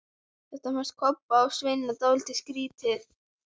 Þetta fannst Kobba og Svenna dálítið skrýtið.